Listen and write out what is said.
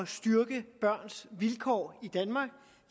styrke børns vilkår i danmark